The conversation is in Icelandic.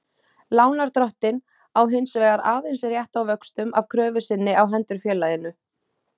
Lánardrottinn á hins vegar aðeins rétt á vöxtum af kröfu sinni á hendur félaginu.